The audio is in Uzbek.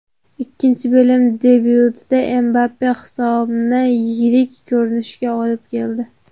Ikkinchi bo‘lim debyutida Mbappe hisobni yirik ko‘rinishga olib keldi.